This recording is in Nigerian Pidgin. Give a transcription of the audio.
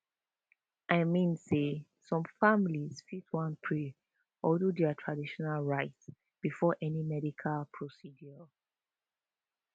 i mean say some families fit wan pray or do their traditional rites before any medical procedure